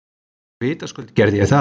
Vitaskuld gerði ég það.